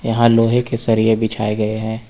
यहां लोहे के सरिए बिछाए गए हैं।